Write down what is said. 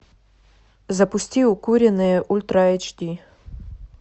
запусти укуренные ультра эйч ди